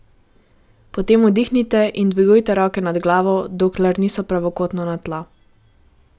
Potem vdihnite in dvigujte roke nad glavo, dokler niso pravokotno na tla.